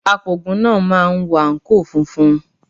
Apògùn náà máa wọ àǹkóò funfun.